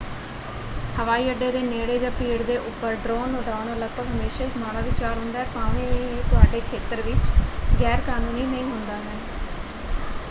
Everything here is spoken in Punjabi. ਹਵਾਈ ਅੱਡੇ ਦੇ ਨੇੜੇ ਜਾਂ ਭੀੜ ਦੇ ਉੱਪਰ ਡਰੋਨ ਉਡਾਉਣਾ ਲਗਭਗ ਹਮੇਸ਼ਾ ਹੀ ਇੱਕ ਮਾੜਾ ਵਿਚਾਰ ਹੁੰਦਾ ਹੈ ਭਾਵੇਂ ਇਹ ਤੁਹਾਡੇ ਖੇਤਰ ਵਿੱਚ ਗੈਰਕਾਨੂੰਨੀ ਨਹੀਂ ਹੁੰਦਾ ਹੈ।